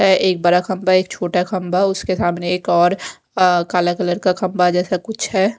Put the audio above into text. एक बड़ा खंबा एक छोटा खंबा उसके सामने एक और काला कलर का खंबा जैसा कुछ है।